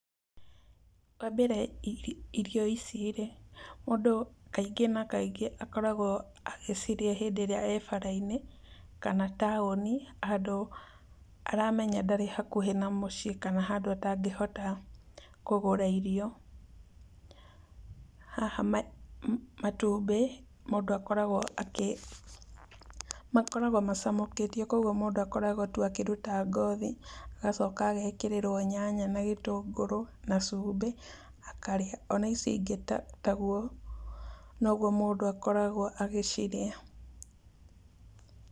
Wa mbere irio ici rĩ, mũndũ kaingĩ na kaingĩ akoragwo agĩcirĩa hĩndĩ ĩrĩa e bara-inĩ kana taũni handũ aramenya ndarĩ hakuhĩ na mũciĩ kana handũ atangĩhota kũgũra irio. Haha matumbĩ mũndũ akoragwo akĩ, makoragwo macamũkĩtio kũoguo mũndũ akoragwo tu akĩruta ngothi agacoka agekĩrĩrwo nyanya na gĩtũngũrũ na cumbĩ akarĩa. Ona ici ingĩ taguo noguo mũndũ akoragwo agĩcirĩa.